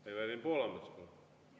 Evelin Poolamets, palun!